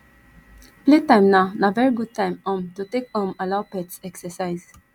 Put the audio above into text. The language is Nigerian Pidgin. playtime na na very good time um to take um allow pets exercise